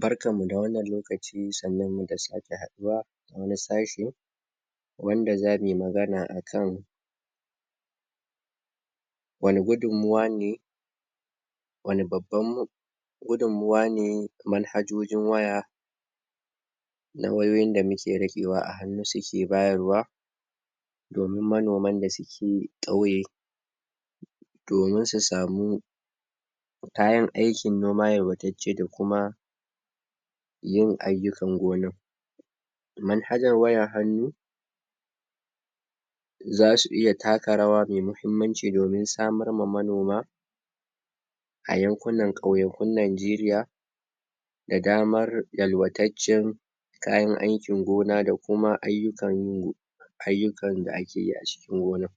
Barkanmu da wannan lokaci sannunmu da sake haɗuwa a wani sashi wanda za muyi magana akan wanne gudunmawa ne wanne babban gudunmawa ne manhajojin waya na wayoyin da muke riƙewa a hannu su ke bayarwa, domin manoman da suke ƙauye domin su samu kayan aikin noma yalwatacce da kuma yin ayukan gonar. Manhajar wayar hannu, za su iya taka rawa mai muhimmanci domin samarma manoma a yankunan ƙauyakun Najeriya, da damar yalwatattacen kayan aikin gona da kuma ayyukan ayyukan da akeyi a cikin gonar.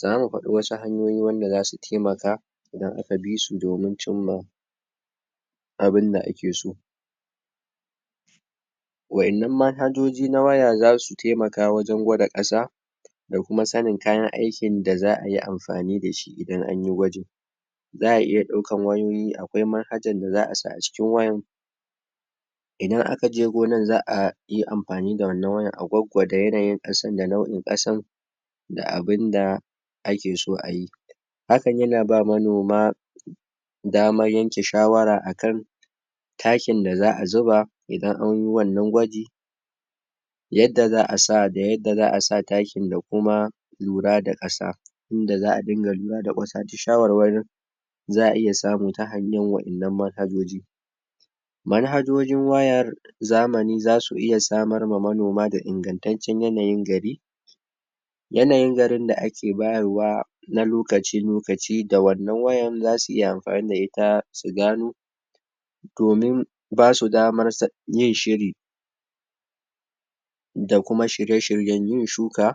Zamu faɗi wasu hanyoyi wanda za su taimaka idan aka bi su domin cimma abunda ake so. Waɗannan manhajoji na waya za su taimaka wajen gwada ƙasa, da kuma sanin kayan aikin da za'ayi amfani da su idan anyi gwajin. Za'a iya ɗaukan wayoyi, akwai manhajar da za'a sa a cikin wayar idan aka je gonar za'a yi amfani da wannan wayar a gwaggwada yanayin ƙasar da nau'in ƙasan da abunda ake so a yi. Hakan yana ba manoma damar yanke shawara akan takinda za'a zuba idan anyiwannan gwaji yadda za'a sa, da yadda za'a sa takin da kuma lura da ƙasa indaza'a dinga lura da wasu shawarwarin da za'a iya samu ta hannun waɗanan manhajoji. Manhajojin wayar zamani za su iya samar ma manoma da ingantaccen yanayin gari. Yanayin garin da ake bayarwa, na lokaci-lokaci da wannan wayar za su iya amfani da ita su gano domin basu damar yin shiri da kuma shirye-shiryen yin shuka,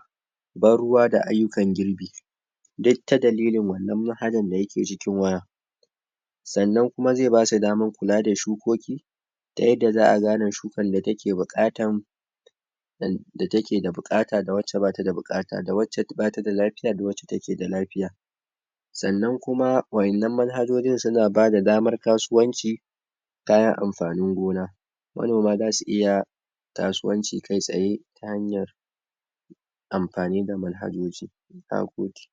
ban ruwa da ayukan girbi, duk ta dalilinwannan manhajar dayake cikin waya sannan kuma zai basu damar da shukoki ta yadda za'a gane shukar da take buƙatan da take da buƙata da wacce ba ta da buƙata da wacce ba ta da lafiya da wacce take da lafiya. Sannan kuma waɗannanan manhajojin suna ba da damar kasuwanci, kayan amfanin gona. Manoma za su iya kasuwanci kai tsaye ta hanyar amfani da manhajoji. Na gode.